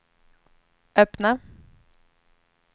öppna